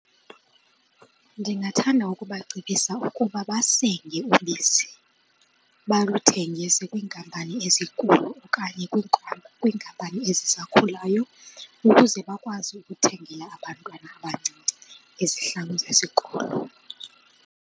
Ndingathanda ukubacebisa ukuba basenge ubisi baluthengise kwiinkampani ezinkulu okanye kwiinkampani ezisakhulayo ukuze bakwazi ukuthengela abantwana abancinci izihlangu zesikolo.